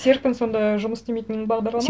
серпін сонда жұмыс істемейтін бағдарлама